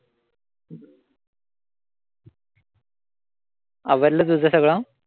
आवरलं तुझं सगळं?